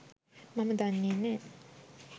මම දන්නෙ නෑ.